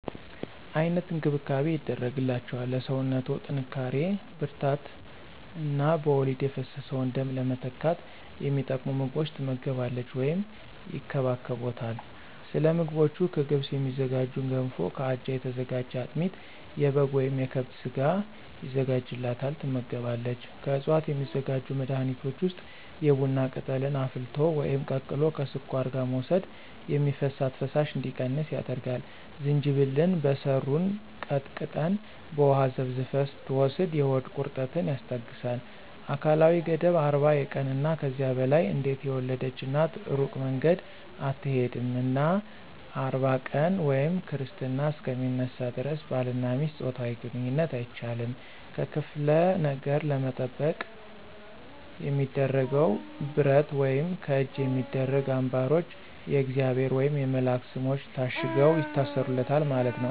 አይነት እንክብካቤ ይደረግላቸዋል ለሰውነቶ ጥንካሪ ብርራታት እነ በወሊድ የፈሰሰውን ደም ለመተካት የሚጠቅሙ ምግቦች ትመገባለች ወይም ይከባከቦታል። ሰለምግቦቹ ከገብስ የሚዝጋጁ ገንፎ ከአጃ የተዘጋጀ አጥሚት የበጋ ወይም የከብት ስጋ የዘጋጅላታል ትመገባለች። ከዕፅዋት የሚዘጋጁ መድኃኒቶች ውስጥ የቡና ቅጠልን አፍልቶ ወይም ቀቅሎ ከስኳር ጋር መውሰድ የሚፈሳት ፈሳሽ እንዲቀንስ ያደርጋል፣ ዝንጅብልን በሰሩን ቀጥቀጠን በውሃ ዘፍዝፈን ስትወስድ የሆድ ቁረጠትን ያስታገሳል። አካላዊ ገደብ 40 የቀንና ከዚያ በላይ አንዴት የወለድች እናት እሩቅ መንገድ አትሆድም እና 40 ቀን ወይም ክርስትና እሰከ ሚነሳ ደረስ ባልና ሚስት ጾታዊ ግንኝነት አይቻልም። ከክፍለ ነገር ለመጠበቅ የሚደረገው ብረት ወይም ከእጅ የሚደረጉ አንባሮች የእግዚአብሔር ወየም የመላእክት ሰሞች ታሽገው ይታሰሩለታል ማለት ነው።